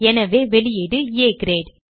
எனவே வெளியீடு ஆ கிரேட்